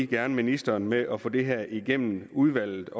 gerne ministeren med at få det her igennem udvalget